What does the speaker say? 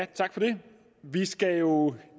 tak for det vi skal jo